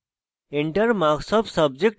enter marks of subject1